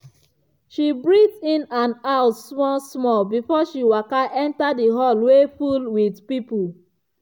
she breathe in and out small-small before she waka enter the hall wey full with people.